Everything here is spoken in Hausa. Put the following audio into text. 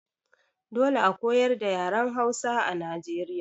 Dole a koyar da yaren Hausa a Nijeriya.